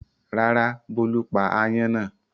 Rárá, Bólú pa aáyán náà.